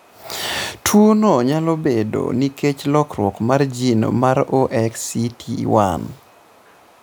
Tuwono nyalo bedoe nikech lokruok mar gene mar OXCT1.